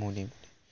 মনে